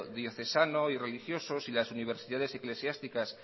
diocesano y religioso y las universidades eclesiásticas